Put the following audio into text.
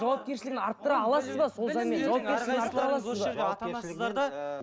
жауапкершілігін арттыра аласыз ба сол заңмен